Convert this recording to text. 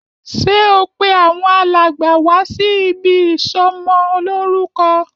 Ṣé o pé àwọn alàgbà wá sí ibí ìsọmọ lórúkọ?